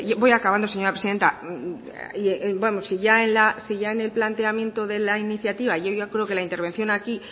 voy acabando señora presidenta si ya en el planteamiento de la iniciativa yo creo que la intervención aquí